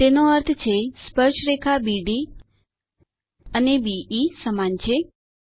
તેનો અર્થ છે સ્પર્શરેખા બીડી અને બે સમાન છે160